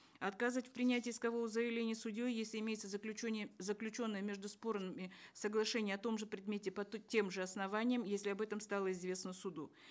отказывать в принятии искового заявления судьей если имеется заключенное между спорами соглашение о том же предмете по тем же основаниям если об этом стало известно суду